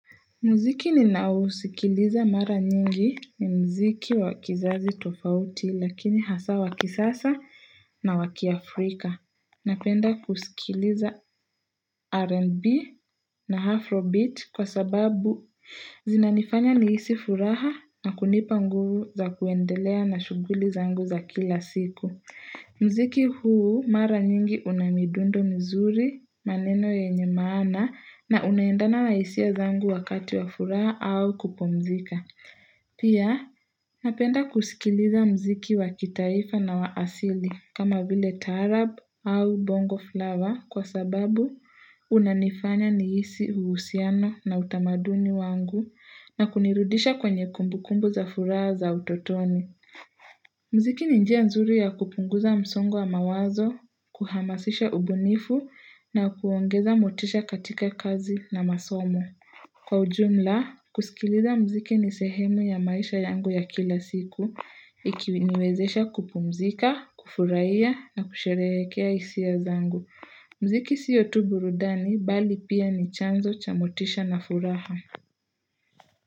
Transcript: Muziki ninaousikiliza mara nyingi ni mziki wa kizazi tofauti lakini hasa wa kisasa na wakiAfrika. Napenda kusikiliza R&B na Afrobeat kwa sababu zinanifanya nihisi furaha na kunipa nguvu za kuendelea na shughuli zangu za kila siku. Mziki huu mara nyingi una midundo mzuri, maneno yenye maana na unaendana na hisia zangu wakati wa furaha au kupumzika. Pia napenda kusikiliza mziki wakitaifa na wa asili kama vile taarab au bongo flavor kwa sababu unanifanya nihisi uhusiano na utamaduni wangu na kunirudisha kwenye kumbukumbu za furaha za utotoni. Mziki ni njia nzuri ya kupunguza msongonwa mawazo, kuhamasisha ubunifu na kuongeza motisha katika kazi na masomo Kwa ujumla, kusikiliza mziki ni sehemu ya maisha yangu ya kila siku, ikiniwezesha kupumzika, kufurahia na kusherehekea hisia zangu mziki sio tu burudani bali pia ni chanzo cha motisha na furaha.